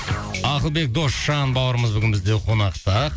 ақылбек досжан бауырымыз бүгін бізде қонақта